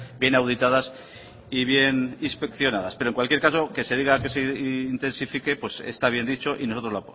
bien auditadas y bien inspeccionadas pero en cualquier caso que se diga que intensifique está bien dicho y nosotros